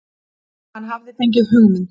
Hann hafði fengið hugmynd.